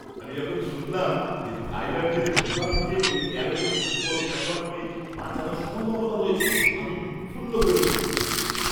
আমি যখন শুনলাম যে থাইল্যাণ্ডের গুহা থেকে ওই ১৩ জন ফুটবল খেলোয়াড়কে বাঁচানোর সম্ভাবনা রয়েছে আমি উৎফুল্ল হয়ে উঠেছিলাম।